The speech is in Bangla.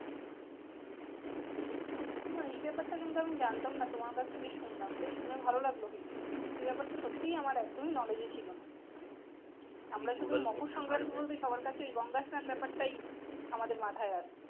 না, এই ব্যাপারটা কিন্তু আমি জানতাম না তোমার কাছ থেকে শুনলাম শুনে ভালো লাগলো কিন্তু এই ব্যাপারটা সত্যিই আমার একদম knowledge এ ছিলো না আমরা শুধু মকর সংক্রান্তি বলতে সবার কাছে ওই গঙ্গা স্লান ব্যাপারটাই আমাদের মাথায় আসতো